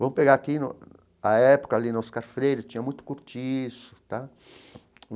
Vamos pegar aqui no a época ali no Oscar Freire, tinha muito cortiço tal.